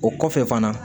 O kɔfɛ fana